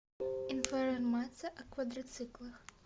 информация о квадроциклах